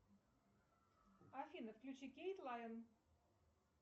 афина включи кейт лайн